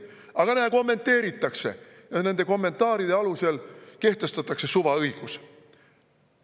Aga näe, kommenteeritakse ja nende kommentaaride alusel kehtestatakse suvaõigus.